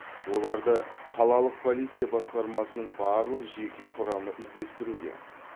оларды қалалық полиция басқармасының барлық жеке құрамы іздестіруде